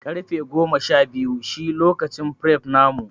Karfe Shabiyu shi lokacin fref namu.